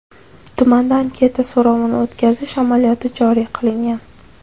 Tumanda anketa so‘rovini o‘tkazish amaliyoti joriy qilingan.